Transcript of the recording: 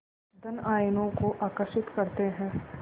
धन आयनों को आकर्षित करते हैं